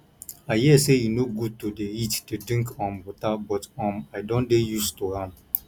i hear say e no good to dey eat dey drink um water but um i don dey used to am